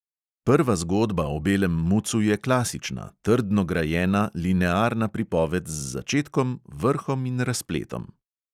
Prva zgodba o belem mucu je klasična, trdno grajena, linearna pripoved z začetkom, vrhom in razpletom.